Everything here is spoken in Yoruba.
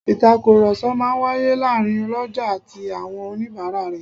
Ìtàkùrọ̀sọ máa ń wáyé láàárín ọlọ́jà àti àwọn oníbàárà rẹ̀